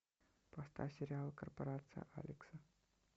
поставь сериал корпорация алекса